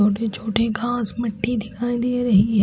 छोटे छोटे घास मिट्टी दिखाई दे रही है।